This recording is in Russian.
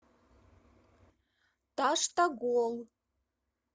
таштагол